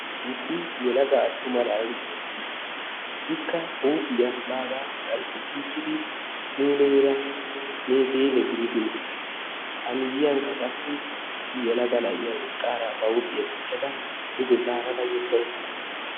Issi yelaga attuma na'ay eqqiis. Ikka bagaa huuphphiya qanxxissichchidi muleera meeseele gidid uttis. A miyiyankka qassi issi yelaga na'iya eqqaara ba huuphphiya dichchada duge zarara yedda uttasu.